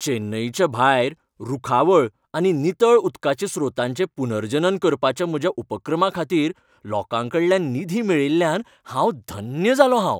चेन्नईच्या भायर रूखावळ आनी नितळ उदकाच्या स्रोतांचें पुनर्जनन करपाच्या म्हज्या उपक्रमाखातीर लोकांकडल्यान निधी मेळिल्ल्यान हांव धन्य जालों हांव.